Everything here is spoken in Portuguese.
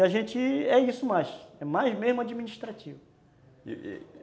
E a gente é isso mais, é mais mesmo administrativo.